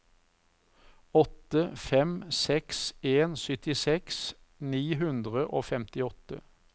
åtte fem seks en syttiseks ni hundre og femtiåtte